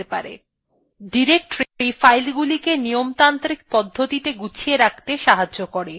directory filesগুলিকে নিয়মতান্ত্রিক পদ্ধতিতে গুছিয়ে রাখতে সাহায্য করে